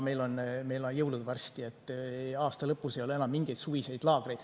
Meil on jõulud varsti, aasta lõpus ei ole enam mingeid suviseid laagreid.